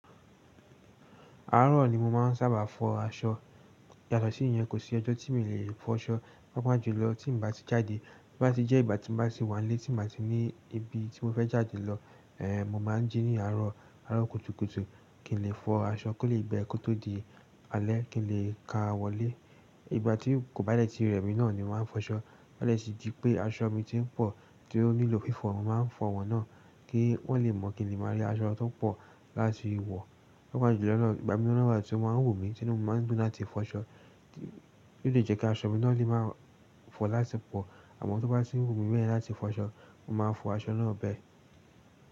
Àárọ̀ ni mo máa ń sábà fọ aṣọ. Yàtọ̀ sí ìyẹn, kò sí ọjọ́ tí mi lè fọ aṣọ. Pápá jùlọ tí n bá ti jáde, tí bá ti jẹ́ ìgbà tí mo bá ti wà nílé, tí mo bá ti ní ibi tí mo fẹ́ jáde lọ, ẹ́ẹ̀ mo máa ń jí ní àárọ̀, àárọ̀ kùtùkùtù kí n lè fọ aṣọ kó lè gbe kó tó di alẹ́ kí n lè ka wọlé. Ìgbà tí kò bá dẹ́ẹ̀ tí rẹ̀ mi náà ni mo máa ń fọ aṣọ. Bá dẹ́ẹ̀ tì di pé aṣọ mi tí ń pọ̀ tí ó nílò fífọ̀, mo máa ń fọ wọn náà kí wọ́n lè mọ̀ kíi le máa rí aṣọ tó pọ̀ láti wọ̀. Pápá jùlọ lọ́wọ́ ìgbà míiran náà wa tí oo máa ń wù mí, tí inu mi máa ń dun lati ti fọ aṣọ, kí ó tó lẹ́ je kí aṣọ mi náà ó lè máa fọ láti pọ̀. Àmọ́ tí oo bá ti wù mí bẹ́ẹ̀ láti fọ aṣọ, mo máa fọ aṣọ náà bẹ́ẹ̀